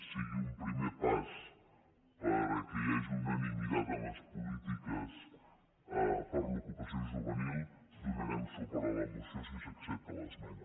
sigui un primer pas perquè hi hagi unanimitat en les polítiques per a l’ocupació juvenil donarem suport a la moció si s’accepta l’esmena